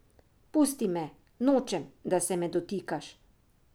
Pusti me, nočem, da se me dotikaš!